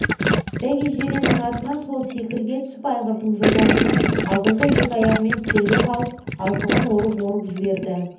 бәйге жиреннің артынан сол секіре түсіп айғырдың жотасына алдыңғы екі аяғымен тіреле қалып алқымын орып-орып жіберді